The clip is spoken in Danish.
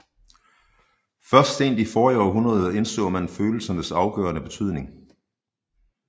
Først sent i forrige århundrede indså man følelsernes afgørende betydning